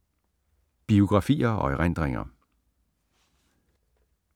Biografier og erindringer